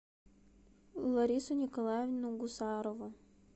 ларису николаевну гусарову